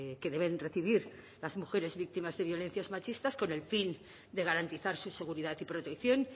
que deben recibir las mujeres víctimas de violencias machistas con el fin de garantizar su seguridad y protección